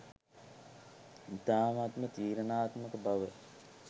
ඉතාමත්ම තීරණාත්මක බවයි